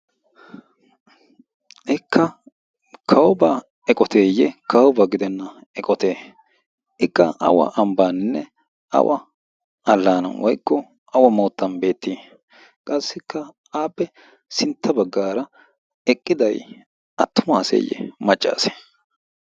ikka kawobaa eqoteeyye kawoba gidenna eqote ikka awa ambbaaninne awa allaana woykko awa moottan beettii qassikka aapphe sintta baggaara eqqiday attumaaseeyye maccaas